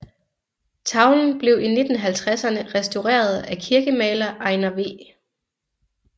Tavlen blev i 1950érne restaureret af kirkemaler Einar V